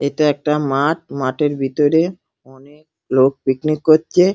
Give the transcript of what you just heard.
এটা একটা মাঠ মাঠের ভিতরে অনেক লোক পিকনিক করচে-এ।